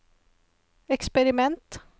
eksperiment